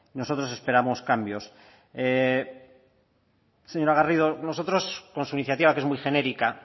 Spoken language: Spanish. nosotros esperamos cambios señora garrido nosotros con su iniciativa que es muy genérica